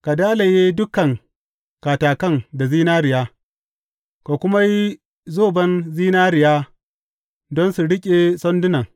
Ka dalaye dukan katakan da zinariya, ka kuma yi zoban zinariya don su riƙe sandunan.